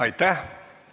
Aitäh!